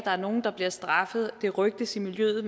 er nogle der bliver straffet og det rygtes i miljøet